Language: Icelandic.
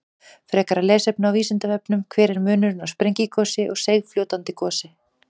Frekara lesefni á Vísindavefnum: Hver er munurinn á sprengigosi og seigfljótandi gosi?